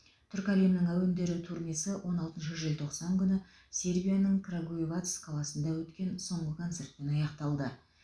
түркі әлемінің әуендері турнесі он алтыншы желтоқсан күні сербияның крагуевац қаласында өткен соңғы концертпен аяқталды